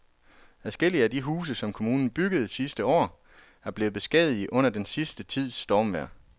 Adskillige af de huse, som kommunen byggede sidste år, er blevet beskadiget under den sidste tids stormvejr.